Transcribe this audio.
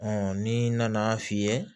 ni nana f'i ye